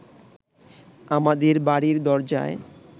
আমাদের বাড়ির দরজায়